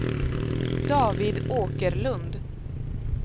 David Åkerlund